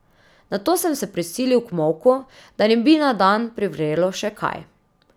Nato sem se prisilil k molku, da ne bi na dan privrelo še kaj.